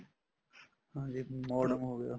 ਹਾਂਜੀ modem ਹੋਗਿਆ